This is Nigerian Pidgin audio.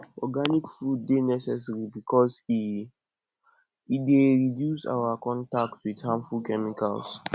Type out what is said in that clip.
organic food dey necessary because e e dey reduce our contact with harmful chemicals